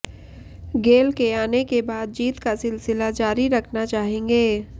गेल के आने के बाद जीत का सिलसिला जारी रखना चाहेंगे